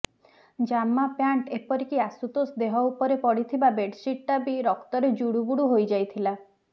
ଜାମା ପ୍ୟାଣ୍ଟ୍ ଏପରିକି ଆଶୁତୋଷ ଦେହ ଉପରେ ପଡିଥିବା ବେଡ୍ସିଟ୍ଟା ବି ରକ୍ତରେ ଜୁଡୁବୁଡୁ ହୋଇଯାଇଥିଲା